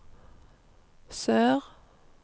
sør